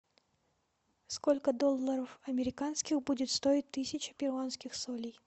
сколько долларов американских будет стоить тысяча перуанских солей